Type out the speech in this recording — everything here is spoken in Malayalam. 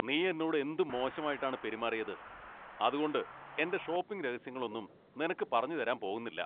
നീ എന്നോട് എന്തു മോശമായിട്ടാണ് പെരുമാറിയത്. അതുകൊണ്ട് എൻ്റെ ഷോപ്പിംഗ് രഹസ്യങ്ങളൊന്നും നിനക്ക് പറഞ്ഞുതരാൻ പോകുന്നില്ല.